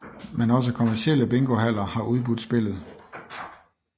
Men også kommercielle bingohaller har udbudt spillet